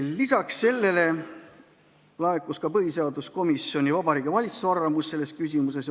Lisaks sellele laekus põhiseaduskomisjonile ka Vabariigi Valitsuse arvamus selles küsimuses.